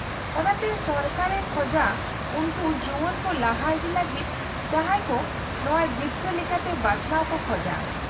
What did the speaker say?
-ᱚᱱᱟᱛᱮ ᱥᱚᱨᱠᱟᱨᱮ ᱠᱷᱚᱡᱟ ᱩᱱᱠᱩ ᱡᱩᱣᱟᱹᱱ ᱠᱚ ᱞᱟᱦᱟ ᱤᱫᱤ ᱞᱟᱹᱜᱤᱫ ᱡᱟᱦᱟᱸᱭ ᱠᱚ ᱱᱚᱶᱟ ᱡᱤᱵᱠᱟᱹ ᱞᱮᱠᱟᱛᱮ ᱵᱟᱪᱷᱱᱟᱣ ᱠᱚ ᱠᱷᱚᱡᱟ ᱾